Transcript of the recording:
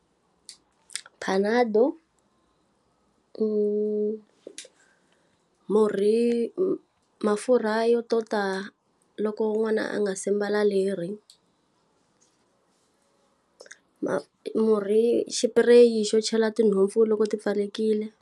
Panado, murhi mafurha yo tota loko n'wana a nga se mbala leri. murhi xipireyi xo chela tinhompfu loko ti pfalekile.